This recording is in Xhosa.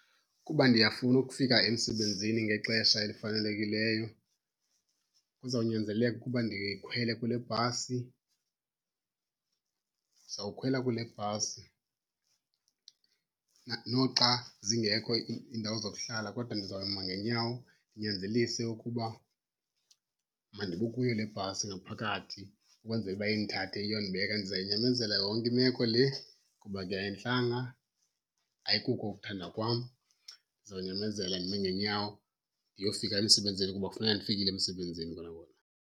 Kuba ndiyafuna ukufika emsebenzini ngexesha elifanelekileyo kuzawunyanzeleka ukuba ndikhwele kule bhasi. Ndizawukhwela kule bhasi noxa zingekho iindawo zokuhlala, kodwa ndizawuma ngeenyawo ndinyanzelise ukuba mandibe kuyo le bhasi ngaphakathi ukwenzela uba indithathe iyondibeka. Ndizayinyamezela yonke imeko le kuba ke ayintlanga, ayikuko ukuthanda kwam. Ndizawunyamezela ndime ngeenyawo ndiyofika emsebenzini kuba kufuneka ndifikile emsebenzini kona kona.